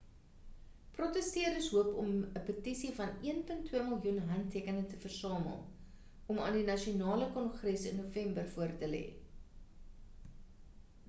protesteerders hoop om 'n petisie van 1.2 miljoen handtekeninge te versamel om aan die nasionale kongres in november voor te lê